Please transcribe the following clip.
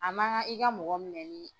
A ma kan i ka mɔgɔ minɛ ni.